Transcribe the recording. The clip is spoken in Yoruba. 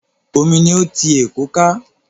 Omi ni ó ti Èkó ká.